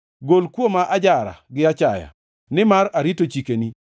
Gol kuoma ajara gi achaya nimar arito chikeni.